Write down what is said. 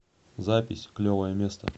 запись клевое место